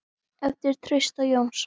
eftir Trausta Jónsson